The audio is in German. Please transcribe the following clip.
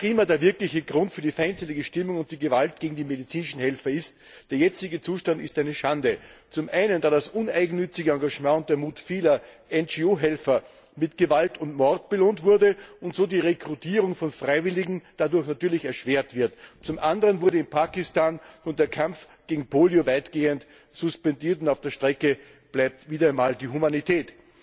Was auch immer die feindliche Stimmung und die Gewalt gegen die medizinischen Helfer ist, der jetzige Zustand ist eine Schande, zum einen, weil das uneigennützige Engagement und der Mut vieler NGO Helfer mit Gewalt und Mord belohnt wurde und so die Rekrutierung von Freiwilligen dadurch natürlich erschwert wird, zum anderen wurde in Pakistan nun der Kampf gegen Polio weitgehend suspendiert, und auf der Strecke bleibt wieder einmal die Humanität.